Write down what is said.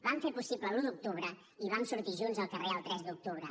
vam fer possible l’un d’octubre i vam sortir junts al carrer el tres d’octubre